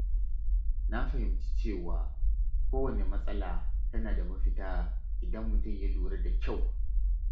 Na fahimci cewa kowanne matsala tana da mafita idan mutum ya lura da kyau.